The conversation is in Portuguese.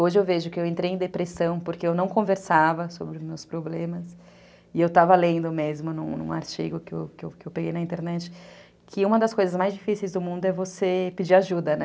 Hoje eu vejo que eu entrei em depressão porque eu não conversava sobre os meus problemas e eu estava lendo mesmo num artigo que eu peguei na internet, que uma das coisas mais difíceis do mundo é você pedir ajuda, né?